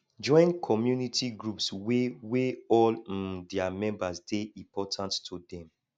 join community groups wey wey all um their members dey important to dem